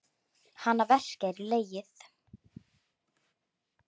Hana verkjar í legið.